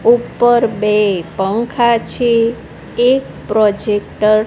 ઉપર બે પંખા છે એક પ્રોજેક્ટર --